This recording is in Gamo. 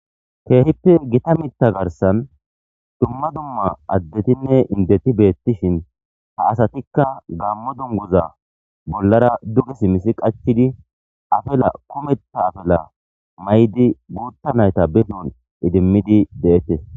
keehippe gita mitta garsan dumma dumma addetinne indeti beettishin ha asatikka gammo dunguza bollara duge simmisi qachidi afela kumetha afela may7di guutta nayta behun idimmidi de7ettes